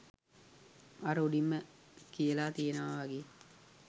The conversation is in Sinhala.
අර උඩින්ම කියලා තියෙනවා වගේ